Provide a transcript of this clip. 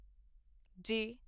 ਜੇ